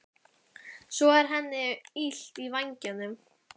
Svo er henni illt í vængnum.